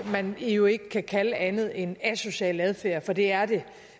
man jo ikke kan kalde andet end asocial adfærd for det er det